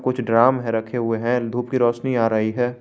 कुछ ड्राम है रखे हुए हैं धूप की रोशनी आ रही है।